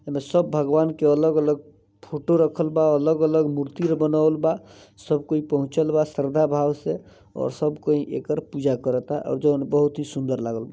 सब भगवन की अलग-अलग फोटो रखल बा अलग-अलग मूर्ति बनावल बा। सब कोई पहोचल बा शरधा भाव से और सब कोई एकर पूजा करता और जॉन बहुत ही सुंदर लागल ।